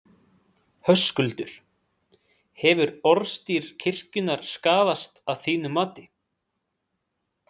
Höskuldur: Hefur orðstír kirkjunnar skaðast að þínu mati?